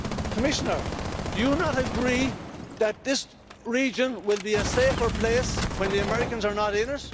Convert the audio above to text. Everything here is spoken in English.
Commissioner, do you not agree that this region will be a safer place when the Americans are not in